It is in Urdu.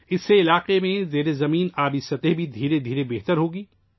اس سے علاقے میں زیر زمین پانی کی سطح بتدریج بہتر ہوگی